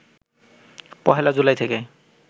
১ জুলাই থেকে